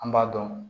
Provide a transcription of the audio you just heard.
An b'a dɔn